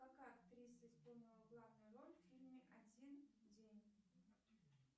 какая актриса исполнила главную роль в фильме один день